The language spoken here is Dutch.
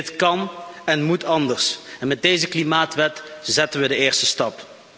Dit kan en moet anders, en met deze klimaatwet zetten we de eerste stap.